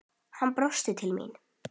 Hann brosir til mín.